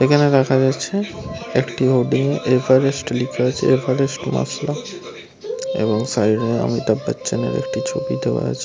এখানে দেখা যাচ্ছে একটি হোর্ডিং - এ এভারেস্ট লিখা আছে । এভারেস্ট মশলা এবং সাইড - এ অমিতাভ বচ্চন - এর একটি ছবি দেওয়া আছে ।